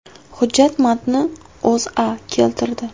Hujjat matnini O‘zA keltirdi .